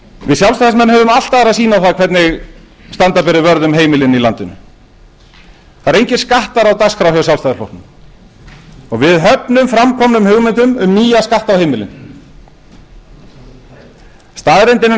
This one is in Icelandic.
við sjálfstæðismenn höfum allt aðra sýn á það hvernig standa beri vörð um heimilin í landinu það eru engir skattar á dagskrá hjá sjálfstæðisflokknum og við höfnum framkomnum hugmyndum um nýja skatta á heimilin staðreyndin er